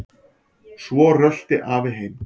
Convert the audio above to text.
Svo rölti afi heim.